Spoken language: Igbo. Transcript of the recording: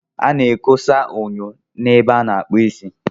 A na-ekosa enyo ebe a na-akpụ isi.